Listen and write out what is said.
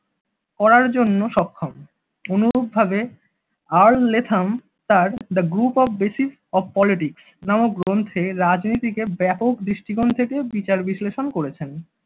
করার জন্য সক্ষম অনুরূপভাবে আর লেথম তার the group Basis of Politics নামক গ্রন্থে রাজনৈতিকের ব্যাপক দৃষ্টিকোণ থেকে বিচার বিশ্লেষণ করেছেন।